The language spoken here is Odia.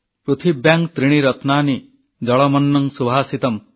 ପୃଥିବ୍ୟାଂ ତ୍ରିଣି ରତ୍ନାନି ଜଳମନ୍ନଂ ସୁଭାଷିତମ୍